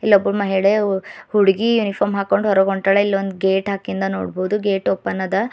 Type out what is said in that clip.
ಇಲ್ಲೊಬ್ಬ ಮಹಿಳೆ ಹುಡುಗಿ ಯೂನಿಫಾರ್ಮ್ ಹಾಕೊಂಡು ಹೊರಗ್ ಹೊಂಟಾಳ ಇಲ್ ಒಂದು ಗೇಟ್ ಹಾಕಿಂದು ನೋಡಬಹುದು ಗೇಟ್ ಓಪನ್ ಅದ.